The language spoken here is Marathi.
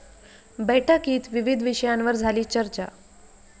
बैठकीत विविध विषयांवर झाली चर्चा